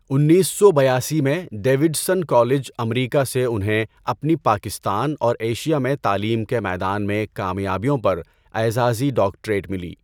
انیس سو بیاسی میں ڈیوڈسن کالج امریکہ سے انہیں اپنی پاکستان اور ایشیا میں تعلیم کے میدان میں کامیابیوں پر اعزازی ڈاکٹریٹ ملی۔